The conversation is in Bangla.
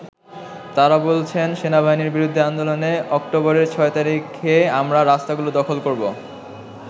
তারা বলছেন, “সেনাবাহিনীর বিরুদ্ধে আন্দোলনে অক্টোবরের ৬ তারিখে আমরা রাস্তাগুলো দখল করবো।